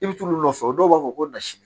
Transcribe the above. I bɛ t'olu nɔfɛ dɔw b'a fɔ ko nasini